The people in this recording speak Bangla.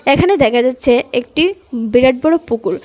এখানে দেখা যাচ্ছে একটি বিরাট বড়ো পুকুর .